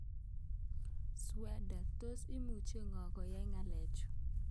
"Sweden, tos imuchi koyan ng'o ng'alechu